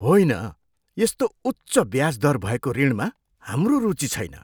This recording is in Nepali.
होइन! यस्तो उच्च ब्याज दर भएको ऋणमा हाम्रो रुचि छैन।